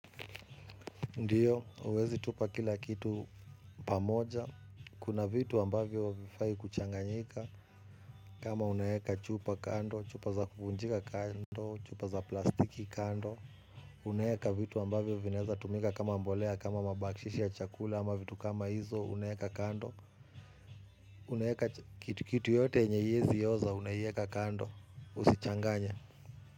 Ndiyo, huwezi tupa kila kitu pamoja. Kuna vitu ambavyo havifai kuchanganyika. Kama unaweka chupa kando, chupa za kuvunjika kando, chupa za plastiki kando. Unaweka vitu ambavyo vinaweza kutumika kama mbolea, kama mabaki ya chakula ama vitu kama hizo unaweka kando. Unaweka kitu kitu yoyote yenye haiwezi oza unaweka kando, usichanganye.